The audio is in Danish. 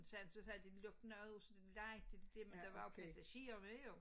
Så så havde den lukket af så lejede de det men der var jo passagerer med jo